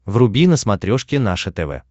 вруби на смотрешке наше тв